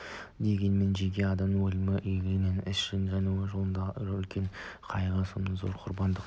дегенмен жеке адам өлімі үлкен игілікті іс жауды жеңу жолында онша үлкен қайғы соншама зор құрбандық